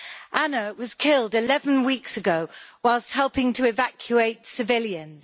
Anna was killed 11 weeks ago whilst helping to evacuate civilians.